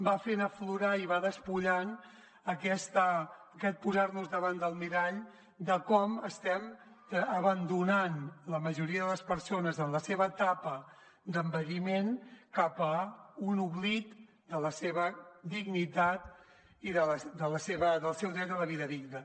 va fent aflorar i va despullant aquest posar nos davant del mirall de com estem abandonant la majoria de les persones en la seva etapa d’envelliment cap a un oblit de la seva dignitat i del seu dret a la vida digna